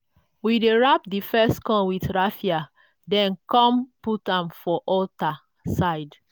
we dey wrap di first corn with raffia then come put am for altar side